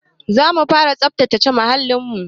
Zamu fara tsabtace muhalin mu